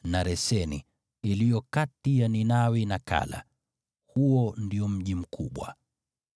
na Reseni, iliyo kati ya Ninawi na Kala; huo ndio mji mkubwa.